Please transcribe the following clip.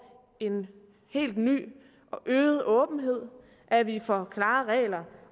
en helt ny og øget åbenhed at vi får klare regler